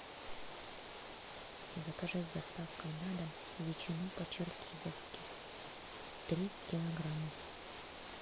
закажи с доставкой на дом ветчину по черкизовски три килограмма